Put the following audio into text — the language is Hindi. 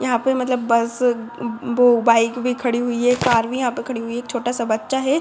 यहाँ पे मतलब बस व- वो बाइक भी खड़ी हुई है। कार भी यहां पे खड़ी हुई है। एक छोटा-सा बच्चा है।